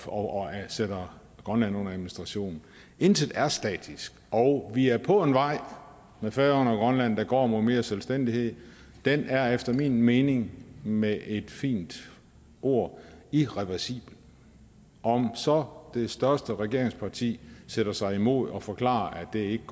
og sætter grønland under administration intet er statisk og vi er på en vej med færøerne og grønland der går mod mere selvstændighed det er efter min mening med et fint ord irreversibelt om så det største regeringsparti sætter sig imod det og forklarer at det ikke